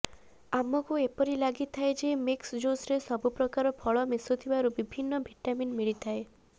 ଆମକୁ ଏପରି ଲାଗିଥାଏ ଯେ ମିକ୍ସ ଜୁସରେ ସବୁ ପ୍ରକାର ଫଳ ମିଶୁଥିବାରୁ ବିଭିନ୍ନ ଭିଟାମିନ୍ ମିଳିଥାଏ